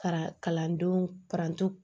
Fara kalandenw paranto